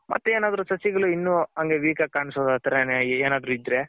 ಮತ್ತೆ ಏನಾದ್ರು ಸಸಿಗಳು ಇನ್ನು ಅಂಗೆ weak ಆಗಿ ಕಾಣ್ಸ್ದ್ ಆ ತರ ಏನಾದ್ರು ಇದ್ರೆ.